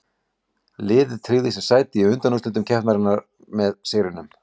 Liðið tryggði sér sæti í undanúrslitum keppninnar með sigrinum.